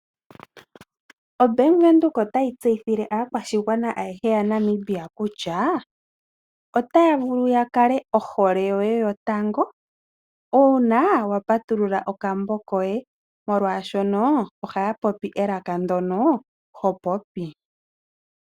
OBank Windhoek otayi tseyithile aakwashigwana ayehe yaNamibia kutya, otaya vulu ya kale ohole yoye yotango, uuna wa patulula okambo koye, molwaashoka ohaya popi elaka ndyono ho popi.